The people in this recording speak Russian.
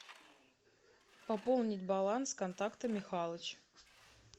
пополнить баланс контакта михалыч